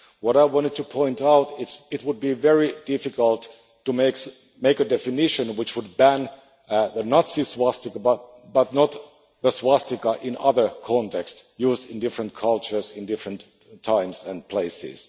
What I wanted to point out is it would be very difficult to make a definition which would ban the Nazi swastika but not the swastika in other contexts, used in different cultures in different times and places.